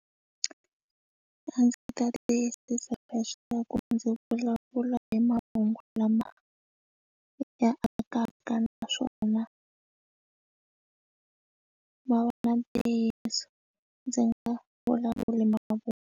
A ndzi ta tiyisisa leswaku ndzi vulavula hi mahungu lama ya akaka naswona ma va na ntiyiso ndzi nga vulavuli ma vo.